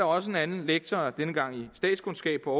også en anden lektor denne gang i statskundskab på